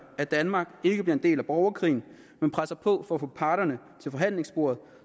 at danmark ikke bliver en del af borgerkrigen men presser på for at få parterne til forhandlingsbordet